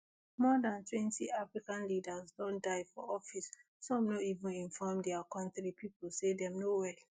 more dan twenty african leaders don die for office some no even inform dia kontri pipo say dem no well